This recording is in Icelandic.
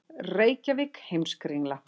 Reykjavík, Heimskringla.